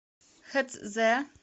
хэцзэ